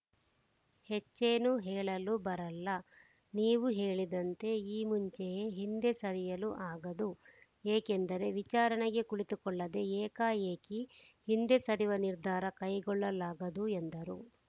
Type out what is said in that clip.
ಹೆಚ್ಚೇನೂ ಹೇಳಲು ಬರಲ್ಲ ನೀವು ಹೇಳಿದಂತೆ ಈ ಮುಂಚೆಯೇ ಹಿಂದೆ ಸರಿಯಲು ಆಗದು ಏಕೆಂದರೆ ವಿಚಾರಣೆಗೆ ಕುಳಿತುಕೊಳ್ಳದೇ ಏಕಾಏಕಿ ಹಿಂದೆ ಸರಿವ ನಿರ್ಧಾರ ಕೈಗೊಳ್ಳಲಾಗದು ಎಂದರು